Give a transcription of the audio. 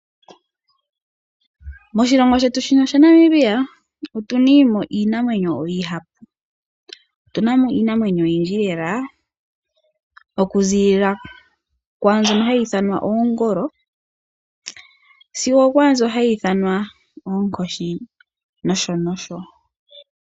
Moshilongo shetu shino shaNamibia otuna iinamwenyo oyindji. Otu namo iinamwenyo oyindji lela, okuziilila kwaambyono hayi ithanwa oongolo sigo okwaambyo hayi ithanwa Oonkoshi nosho nosho.